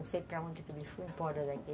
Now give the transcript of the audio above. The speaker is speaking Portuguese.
Não sei para onde que ele foi, foi embora daqui.